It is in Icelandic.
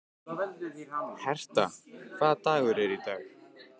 Herta, hvaða dagur er í dag?